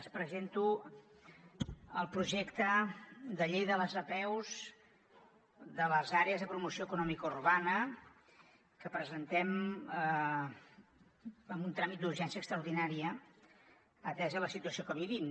els presento el projecte de llei de les apeus de les àrees de promoció econòmica urbana que presentem amb un tràmit d’urgència extraordinària atesa la situació que vivim